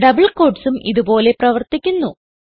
double quotesസും ഇത്പോലെ പ്രവർത്തിക്കുന്നു